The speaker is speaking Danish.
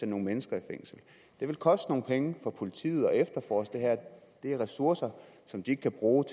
nogle mennesker i fængsel det vil koste nogle penge for politiet at efterforske det er ressourcer som de kan bruge